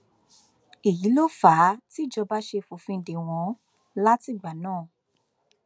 èyí ló fà á tìjọba ṣe fòfin dè wọn látìgbà náà